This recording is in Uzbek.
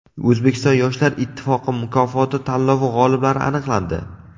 O‘zbekiston yoshlar ittifoqi mukofoti tanlovi g‘oliblari aniqlandi.